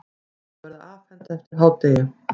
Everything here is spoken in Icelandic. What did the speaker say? Þau verða afhent eftir hádegið.